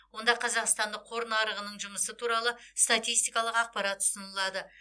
онда қазақстандық қор нарығының жұмысы туралы статистикалық ақпарат ұсынылады